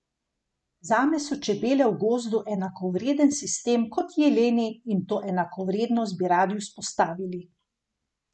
Zame so čebele v gozdu enakovreden sistem kot jeleni in to enakovrednost bi radi vzpostavili.